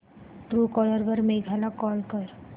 Truecaller वर मेघा ला call कर